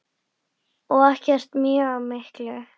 Og ekkert mjög mikið.